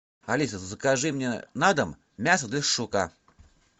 алиса закажи мне на дом мясо для шашлыка